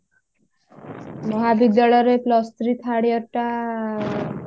ମହାବିଦ୍ୟାଳୟରେ plus three third year ଟା